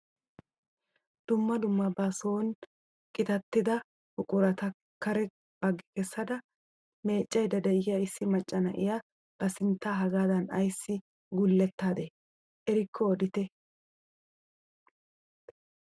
Dumma dumma ba soni qitattida buqurata kare baggi keessada meeccayda de'iyaa issi macca na'iyaa ba sinttaa hagaadan ayssi gulettadee erikko odite?